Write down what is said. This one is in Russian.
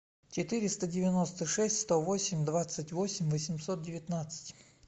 четыреста девяносто шесть сто восемь двадцать восемь восемьсот девятнадцать